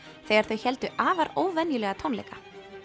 þegar þau héldu afar óvenjulega tónleika